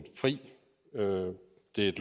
et